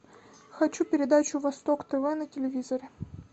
хочу передачу восток тв на телевизоре